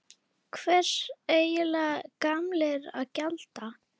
Hvers eiga gamlir að gjalda?